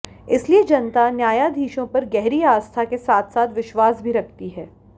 इसलिए जनता न्यायाधीशों पर गहरी आस्था के साथ साथ विश्वास भी रखती है